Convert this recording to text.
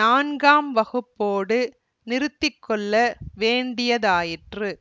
நான்காம் வகுப்போடு நிறுத்தி கொள்ள வேண்டியதாயிற்று